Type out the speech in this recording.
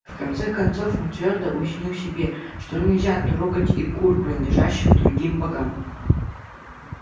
в конце концов он твёрдо уяснил себе что нельзя трогать и кур принадлежащих другим богам